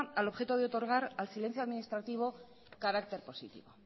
al objeto de otorgar al silencio administrativo carácter positivo